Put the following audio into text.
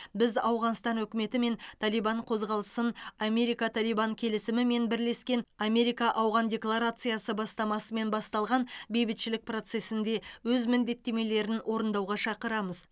біз ауғанстан үкіметі мен талибан қозғалысын америка талибан келісімі мен бірлескен америка ауған декларациясы бастамасымен басталған бейбітшілік процесінде өз міндеттемелерін орындауға шақырамыз